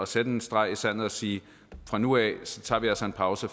sætte en streg i sandet og sige fra nu af tager vi altså en pause